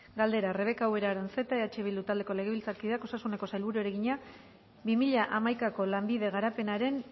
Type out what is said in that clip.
galdera rebeka ubera aranzeta eh bildu taldeko legebiltzarkideak osasuneko sailburuari egina bi mila hamaikako lanbide garapenaren